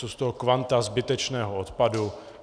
Jsou z toho kvanta zbytečného odpadu.